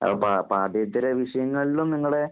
പാ പാഠേൃതര വിഷയങ്ങളിലും നിങ്ങടെ